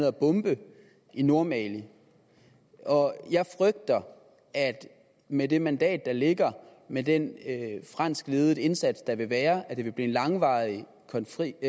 at bombe i nordmali jeg frygter at det med det mandat der ligger med den fransk ledede indsats der vil være vil blive en langvarig konflikt